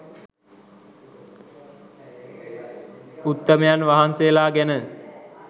උත්තමයන් වහන්සේලා ගැන.